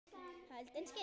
Holdinu skinn.